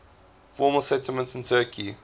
former settlements in turkey